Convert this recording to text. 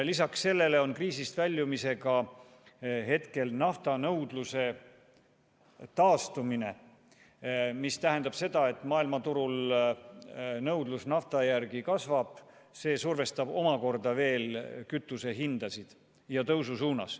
Lisaks sellele on kriisist väljumisega seotud naftanõudluse taastumine, mis tähendab seda, et maailmaturul nõudlus nafta järele kasvab ning see survestab veelgi kütuse hindasid tõstma.